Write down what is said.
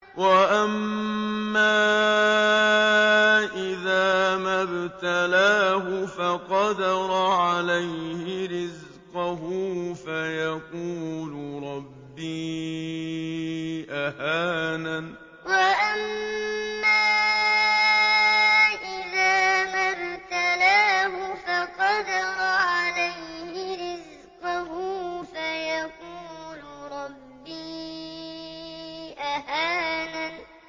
وَأَمَّا إِذَا مَا ابْتَلَاهُ فَقَدَرَ عَلَيْهِ رِزْقَهُ فَيَقُولُ رَبِّي أَهَانَنِ وَأَمَّا إِذَا مَا ابْتَلَاهُ فَقَدَرَ عَلَيْهِ رِزْقَهُ فَيَقُولُ رَبِّي أَهَانَنِ